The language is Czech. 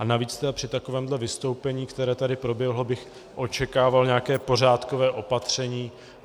A navíc při takovém vystoupení, které tady proběhlo, bych očekával nějaké pořádkové opatření.